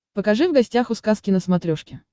покажи в гостях у сказки на смотрешке